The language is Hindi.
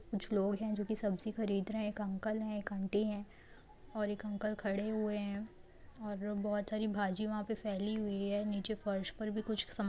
कुछ लोग हैं जो कि सब्जी खरीद रहे हैं। एक अंकल है एक आंटी है और एक अंक खड़े हुए हैं और वो बहुत सारी भाजी वहां पे फैली हुई है नीचे फर्श पर भी कुछ समान --